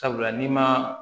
Sabula n'i ma